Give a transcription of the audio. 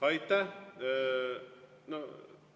Aitäh!